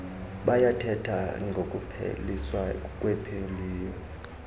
bayathetha ngokupheliswa kwepoliyo